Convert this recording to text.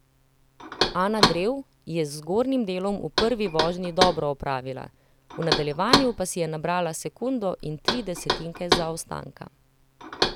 Ana Drev je z zgornjim delom v prvi vožnji dobro opravila, v nadaljevanju pa si je nabrala sekundo in tri desetinke zaostanka.